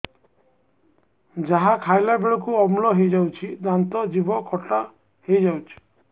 ଯାହା ଖାଇଲା ବେଳକୁ ଅମ୍ଳ ହେଇଯାଉଛି ଦାନ୍ତ ଜିଭ ଖଟା ହେଇଯାଉଛି